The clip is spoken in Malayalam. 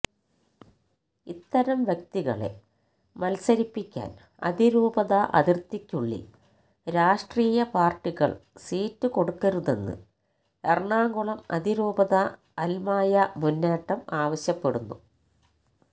ഇത്തരം വ്യക്തികളെ മത്സരിപ്പിക്കാന് അതിരൂപത അതിര്ത്തിക്കുള്ളില് രാഷ്ട്രീയ പാര്ട്ടികള് സീറ്റ് കൊടുക്കരുതെന്ന് എറണാകുളം അതിരൂപത അല്മായ മുന്നേറ്റം ആവശ്യപ്പെടുന്നു